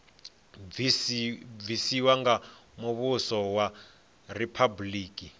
bvisiwa nga muvhuso wa riphabuliki